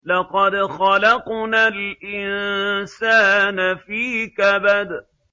لَقَدْ خَلَقْنَا الْإِنسَانَ فِي كَبَدٍ